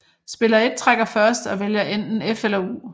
Spiller 1 trækker først og vælger enten F eller U